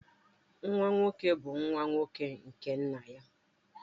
Nwa nwoke bu nwa nwoke nke nna ya